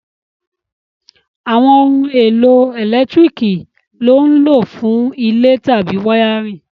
Àwọn ohun èlò ẹ̀lẹ́tíríkì lọ́ n lò fún ilé tàbí wáyárìn